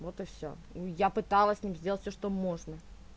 вот и всё я пыталась с ним сделать всё что можно